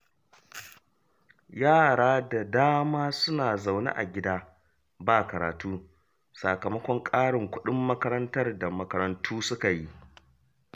Yara da dama suna zaune a gida ba karatu, sakamakon ƙarin kuɗin makarantar da makarantu suka yi